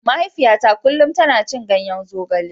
Mahaifiyata kullum tana cin ganyen zogale.